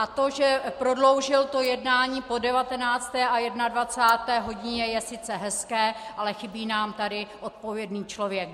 A to, že prodloužil to jednání po 19. a 21. hodině, je sice hezké, ale chybí nám tady odpovědný člověk.